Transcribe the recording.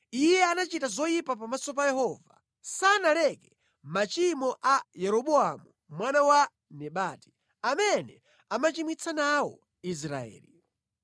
Iye anachita zoyipa pamaso pa Yehova. Sanaleke machimo a Yeroboamu mwana wa Nebati, amene anachimwitsa nawo Israeli.